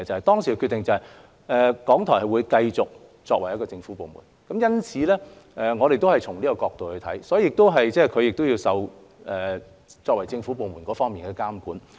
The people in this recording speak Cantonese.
當時的決定是，港台會繼續作為一個政府部門，因此我們也是從這角度來看，港台亦要受到作為政府部門相關的監管。